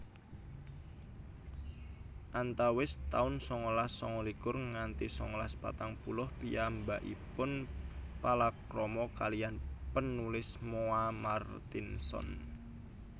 Antawis taun sangalas sangalikur nganti sangalas patang puluh piyambakipun palakrama kaliyan penulis Moa Martinson